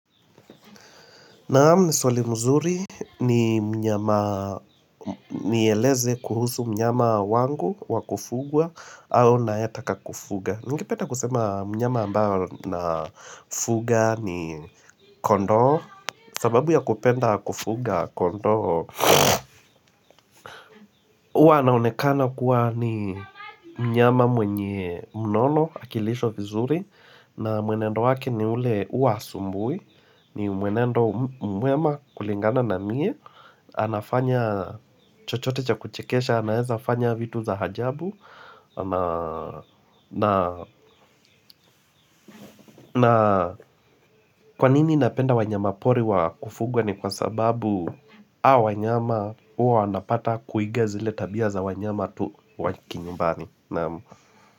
Naam ni swali mzuri ni mnyama nieleze kuhusu mnyama wangu wa kufugwa au naeka ka kufuga. Ningependa kusema mnyama ambao nafuga ni kondoo. Sababu ya kupenda kufuga kondo. Huwa anaonekana kuwa ni mnyama mwenye unono akilishwa vizuri. Na mwenendo waki ni ule huwa hasumbui. Ni mwenendo mwema kulingana na mie anafanya chochote cha kuchekesha anaeza fanya vitu za ajabu na kwanini napenda wanyama pori wa kufugwa ni kwa sababu hawa wanyama huwa wanapata kuiga zile tabia za wanyama tu wakinyumbani naam.